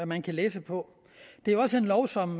man kan læse på det er også en lov som